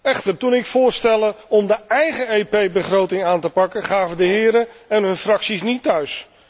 Echter, toen ik voorstelde om de eigen EP begroting aan te pakken gaven de heren en hun fracties niet thuis.